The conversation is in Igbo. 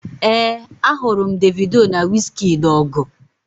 ee, ahụrụ m Davido na wizkid ọgụ